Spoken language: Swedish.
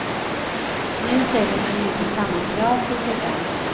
Nu ställer hon inte samma krav på sig själv.